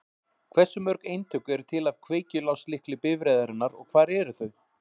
Hversu mörg eintök eru til af kveikjuláslykli bifreiðarinnar og hvar eru þau?